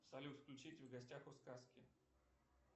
салют включите в гостях у сказки